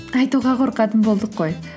айтуға қорқатын болдық қой